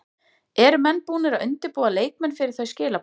Eru menn búnir að undirbúa leikmenn fyrir þau skilaboð?